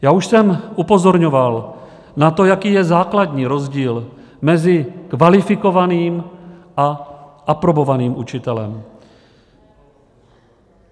Já už jsem upozorňoval na to, jaký je základní rozdíl mezi kvalifikovaným a aprobovaným učitelem.